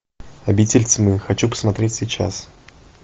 обитель тьмы хочу посмотреть сейчас